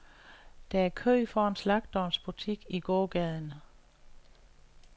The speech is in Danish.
Der er kø foran slagterens butik i gågaden.